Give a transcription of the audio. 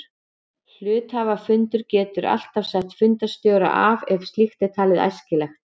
Hluthafafundur getur alltaf sett fundarstjóra af ef slíkt er talið æskilegt.